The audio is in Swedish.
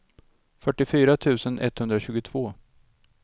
fyrtiofyra tusen etthundratjugotvå